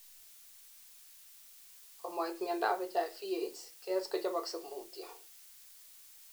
komait miondap HIV/AIDS, KS kochoboksei mutyo